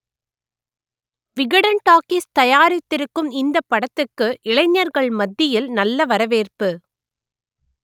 Vikatan talkies தயா‌ரித்திருக்கும் இந்தப் படத்துக்கு இளைஞர்கள் மத்தியில் நல்ல வரவேற்பு